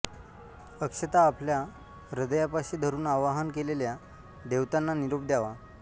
अक्षता आपल्या हृदयापाशी धरुन आवाहन केलेल्या दैवतांना निरोप द्यावा